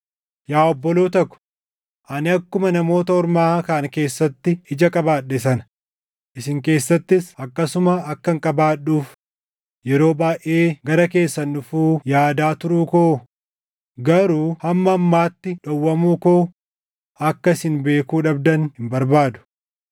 Yaa obboloota ko, ani akkuma Namoota Ormaa kaan keessatti ija qabaadhe sana isin keessattis akkasuma akkan qabaadhuuf yeroo baayʼee gara keessan dhufuu yaadaa turuu ko, garuu hamma ammaatti dhowwamuu koo akka isin beekuu dhabdan hin barbaadu.